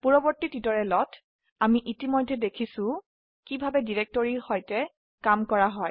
পূৰ্ববৰ্তী টিউটোৰিয়েলতইতিমধ্যে আমি দেখিছো যে কিভাবে ডিৰেক্টৰি সৈতে কাম কৰা হয়